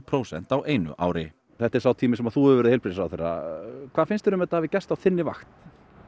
prósent á einu ári þetta er sá tími sem þú hefur verið heilbrigðisráðherra hvað finnst þér um að þetta hafi gerst á þinni vakt